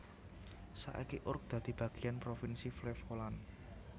Saiki Urk dadi bagiyan provinsi Flevoland